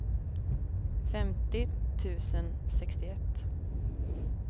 femtio tusen sextioett